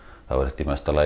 er þetta